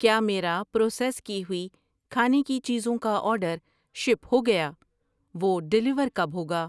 کیا میرا پروسیس کی ہوئی کھانے کی چیزیں کا آرڈر شپ ہو گیا؟ وہ ڈیلیور کب ہوگا؟